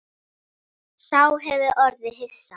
Sá hefur orðið hissa